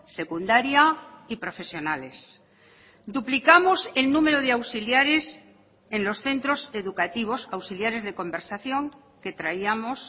secundaria y profesionales duplicamos el número de auxiliares en los centros educativos auxiliares de conversación que traíamos